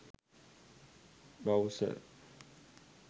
browser